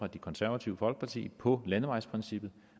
det konservative folkeparti på landevejsprincippet